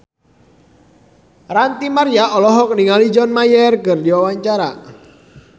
Ranty Maria olohok ningali John Mayer keur diwawancara